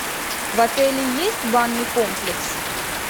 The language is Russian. в отеле есть банный комплекс